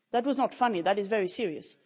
That was not funny, that is very serious.